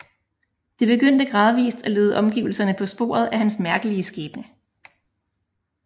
Det begyndte gradvist at lede omgivelserne på sporet af hans mærkelige skæbne